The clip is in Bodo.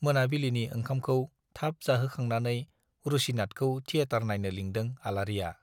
मोनाबिलिनि ओंखामखौ थाब जाहोखांनानै रुसिनाथखौ थियेटार नाइनो लिंदों आलारिया।